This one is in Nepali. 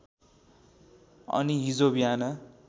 अनि हिजो बिहान